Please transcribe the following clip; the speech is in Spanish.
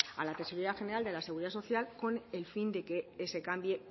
a la tesorería general de la seguridad social con el fin de que se cambie